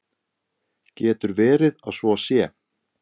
Getur verið að svo sé?